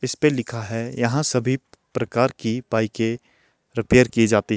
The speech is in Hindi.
इसपे लिखा है यहां सभी प्रकार की बाइके रिपेयर की जाती--